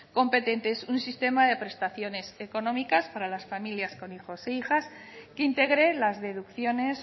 competentes un sistema de prestaciones económicas para las familias con hijos e hijas que integre las deducciones